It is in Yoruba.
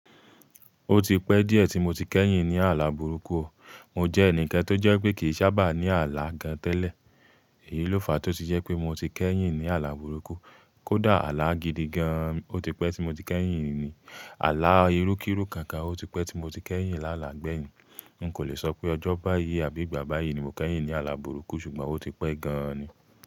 Ó ti pẹ́ díẹ̀ tí mo ti kẹ́yìn ní àlá burúkú o. Mo jẹ́ ẹnìkan tó jẹ́ pé kì í sábà ní àlá gan tẹ́lẹ̀. Èyí ló fa a tó si jẹ́ pé mo ti kẹ́yìn ní àlá burúkú. Kódà àlá gidi gan-an, ó ti pẹ́ tí mo ti kẹ́yìn ní, àlá irú-kíru kankan, ó ti pẹ́ tí mo ti kẹ́yìn lálà gbẹ̀yìn. N kò lè sọ pé ọjọ́ báyìí àbí ìgbà báyìí ni mo kẹ́yìn ní àlá burúkú ṣùgbọ́n ó ti pẹ́ gan-an ni.